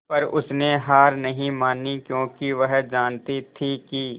पर उसने हार नहीं मानी क्योंकि वह जानती थी कि